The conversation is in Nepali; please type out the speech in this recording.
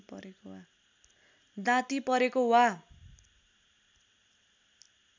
दाँती परेको वा